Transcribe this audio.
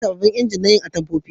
Za a yi sabobbin inji na yin atamfofi